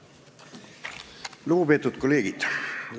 Lugupeetud kolleegid!